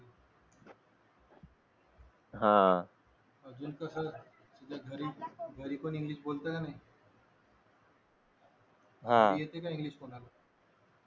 अजून कसं तुझ्या घरी पण इंग्लिश बोलतो का नाही घरी येते का english कोणाला